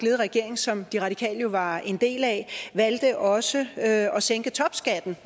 regering som de radikale var en del af valgte også at sænke topskatten